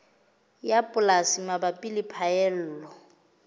ya polasi mabapi le phaello